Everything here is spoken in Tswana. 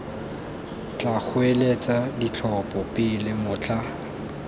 tla goeletsa ditlhopho pele motlha